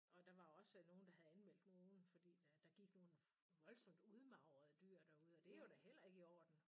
Og der var også nogen der havde anmeldt nogen fordi der gik nogle voldsomt udmagrede dyr derude og det er da heller ikke i orden